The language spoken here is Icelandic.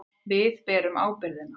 Við berum ábyrgðina.